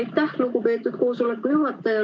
Aitäh, lugupeetud koosoleku juhataja!